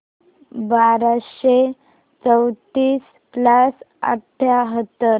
बाराशे चौतीस प्लस अठ्याहत्तर